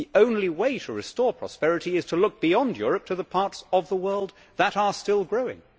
The only way to restore prosperity is to look beyond Europe to the parts of the world that are still growing.